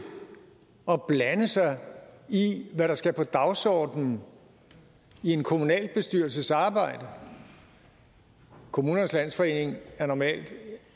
at blande sig i hvad der skal på dagsordenen i en kommunalbestyrelses arbejde kommunernes landsforening er normalt